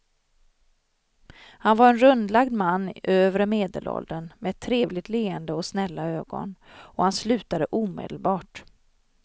Han var en rundlagd man i övre medelåldern med ett trevligt leende och snälla ögon och han slutade omedelbart.